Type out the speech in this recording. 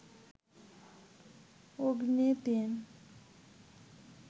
অগ্নি ৩